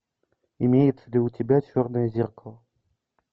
имеется ли у тебя черное зеркало